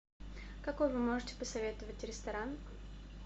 какой вы можете посоветовать ресторан